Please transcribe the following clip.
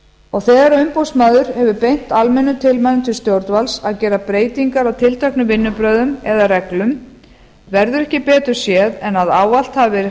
og þegar umboðsmaður hefur beint almennum tilmælum til stjórnvalds að gera breytingar á tilteknum vinnubrögðum eða reglum verður ekki betur séð en að ávallt hafi